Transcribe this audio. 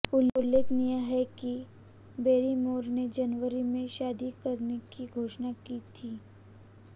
उल्लेखनीय है कि बैरीमोर ने जनवरी में शादी करने की घोषणा की थीं